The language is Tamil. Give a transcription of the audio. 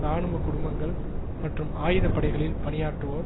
இராணுவ குடும்பங்கள் மற்றும் ஆயுதப்படைகளில் பணியாற்றுவோர்